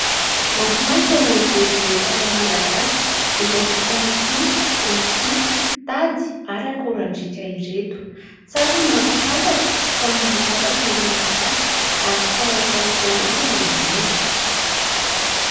Mafinatra ny mijery ireto ara malagasy izay vita amin'ny tsihy, rofia, tady ary akorandriaka ireto. Tsara ny mampafantatra fa mahay zavatra ny malagasy ary tsara atao ho fianarana izany.